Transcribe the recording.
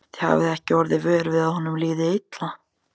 Þið hafið ekki orðið vör við að honum liði illa?